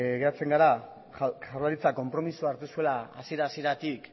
geratzen gara jaurlaritzak konpromisoa hartu zuela hasiera hasieratik